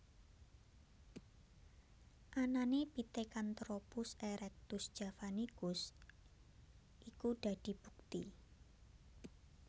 Anané Pithecantropus erectus javanicus iku dadi bukti